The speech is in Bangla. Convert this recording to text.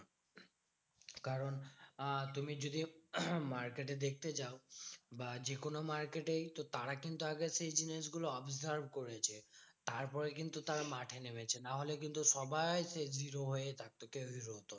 কারণ আহ তুমি যদি market এ দেখতে যাও বা যেকোনো market এই তো তারা কিন্তু আগে সেই জিনিসগুলো observe করেছে। তারপরে কিন্তু তারা মাঠে নেমেছে। নাহলে কিন্তু সবাই হয়েই থাকতো কেউই করতো না।